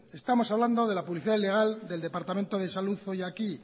estamos hablando de la publicidad ilegal del departamento de salud hoy aquí